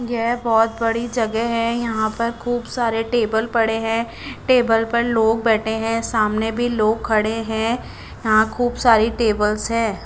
ये बहोत बड़ी जगे है यहा पर खूब सारे टेबल पड़े है टेबल पर लोग बेठे है सामने भी लोग खड़े है यहा खूब सारी टेबल्स है।